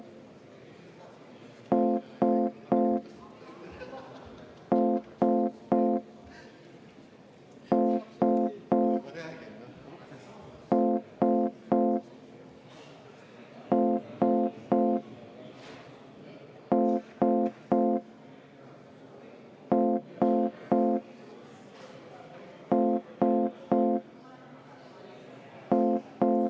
Ma võtaks Eesti Konservatiivse Rahvaerakonna fraktsiooni nimel enne hääletamist 10 minutit vaheaega.